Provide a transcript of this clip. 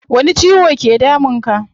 Wani ciwo ke damun ka?